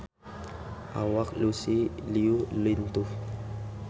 Awak Lucy Liu lintuh